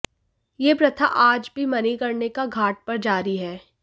यह प्रथा आज भी मणिकर्णिका घाट पर जारी है